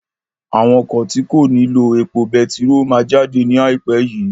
Àwọn ọkọ̀ tí kò ní lo epo betiró máa jáde ní ai pẹ yii